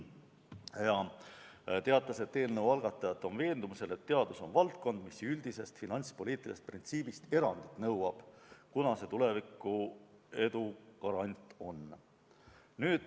Ta teatas, et eelnõu algatajad on veendumusel, et teadus on valdkond, mis nõuab üldisest finantspoliitilisest printsiibist erandit, sest see on tuleviku edu garant.